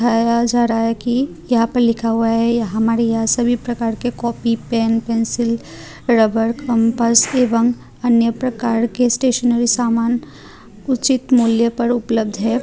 आया जा रहा है कि यहां पर लिखा हुआ है हमारे यहा सभी प्रकार के copy pen pencil rubber compass एवं अन्य प्रकार के स्टेशनरी सामान उचित मूल्य पर उपलब्ध है।